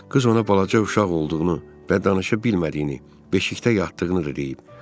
Qız ona balaca uşaq olduğunu və danışa bilmədiyini, beşikdə yatdığını da deyib.